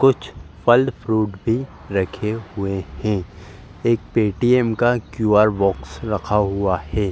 कुछ फल फ्रूट भी रखे हुए हैं। एक पेटीएम का क्यू.आर. बॉक्स रखा हुआ है।